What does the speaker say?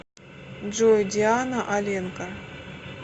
джой диана аленка